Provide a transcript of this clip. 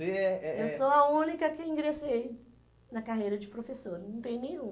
Você é é... Eu sou a única que ingressei na carreira de professora, não tem nenhum.